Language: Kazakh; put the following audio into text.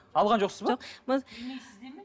алған жоқсыз ба жоқ